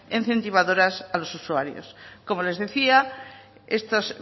incentivadoras a los usuarios como les decía estas